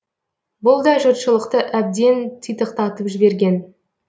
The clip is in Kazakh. бұл да жұртшылықты әбден титықтатып жіберген